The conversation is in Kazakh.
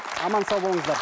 аман сау болыңыздар